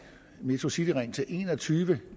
metrocityring til en og tyve